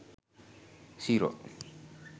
zero